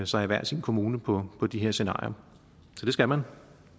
sig i hver sin kommune på på de her scenarier så det skal man